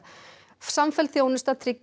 samfelld þjónusta tryggi